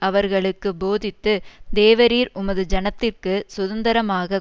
அவர்களுக்கு போதித்து தேவரீர் உமது ஜனத்திற்குச் சுதந்தரமாகக்